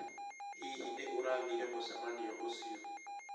Hihi nĩ urathiĩre mucemanio ucĩo?